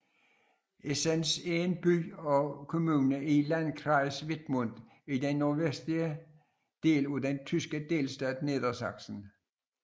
Esens er en by og kommune i Landkreis Wittmund i den nordvestlige del af den tyske delstat Niedersachsen